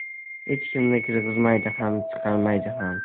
Hech kimni kirgizmaydi ham, chiqarmaydi ham.